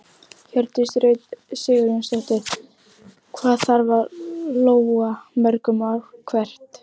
Hjördís Rut Sigurjónsdóttir: Hvað þarf að lóga mörgum ár hvert?